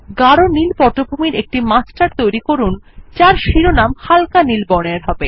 গাড় নীল পটভূমির একটি মাস্টার তৈরী করুন যার শিরোনামের স্থান হালকা নীল বর্ণের হবে